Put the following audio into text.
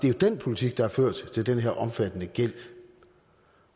er den politik der har ført til den her omfattende gæld